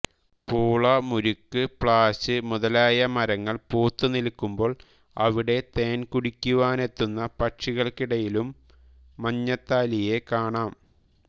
പൂള മുറിക്കു പ്ലാശ് മുതലായ മരങ്ങൾ പൂത്തു നിൽക്കുമ്പോൾ അവിടെ തേൻ കുടിക്കുവാനെത്തുന്ന പക്ഷികൾക്കിടയിലും മഞ്ഞത്താലിയെ കാണാം